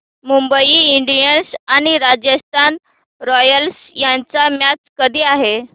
Mumbai Indians आणि Rajasthan Royals यांची match कधी आहे